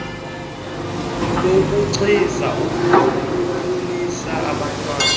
lokugcina akhulise abantwana